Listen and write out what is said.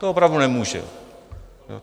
To opravdu nemůže.